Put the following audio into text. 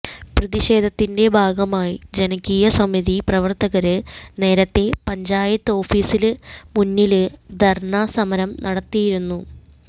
പ്രതിഷേധത്തിന്റെ ഭാഗമായി ജനകീയ സമിതി പ്രവര്ത്തകര് നേരത്തെ പഞ്ചായത്ത് ഓഫീസിന് മുന്നില് ധര്ണ്ണാ സമരം നടത്തിയിരുന്നു